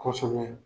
Kosɛbɛ